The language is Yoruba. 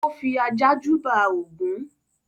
ó fi ajá júbà Ògún